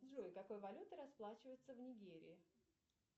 джой какой валютой расплачиваются в нигерии